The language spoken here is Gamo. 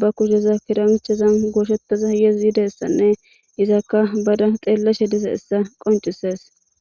ba kushen kiranchera gooshetishe dizaysanne izaka baada xeellashe dizayssa besees.